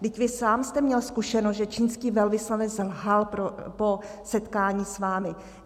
Vždyť vy sám jste měl zkušenost, že čínský velvyslanec lhal po setkání s vámi.